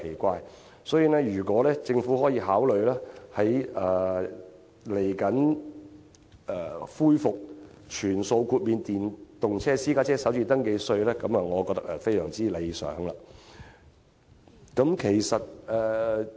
我認為，如果政府可以考慮恢復全數豁免電動私家車首次登記稅，會是非常理想的做法。